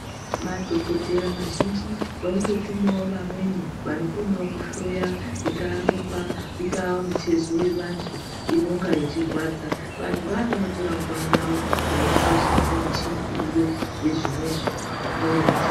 Madhokodheya mazhinji varikutotumawo vamweni vanokonawo kuhloya ingaa Ropa inga mitezo yeantu inonga yechirwadza vantuvo avavo vanotora nguva yavo veinasa kushandisa michini iriyo yezvinenzvi kuhloya ndiyo.